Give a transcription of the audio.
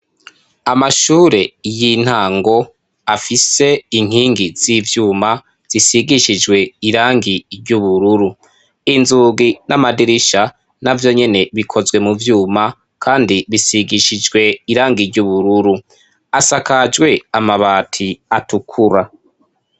Amashure y'intango afise inkingi z'ivyuma zisigishijwe irangi ry'ubururu inzugi n'amadirisha navyo nyene bikozwe mu vyuma kandi bisigishijwe irangi ry'ubururu asakajwe amabati atukura.